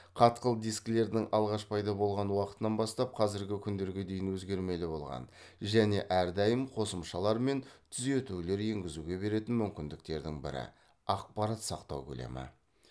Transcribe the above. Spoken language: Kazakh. қатқыл дискілердің алғаш пайда болған уақытынан бастап қазіргі күндерге дейін өзгермелі болған және әрдайым қосымшалар мен түзутулер еңгізуге беретін мүмкіндіктерінің бірі ақпарат сақтау көлемі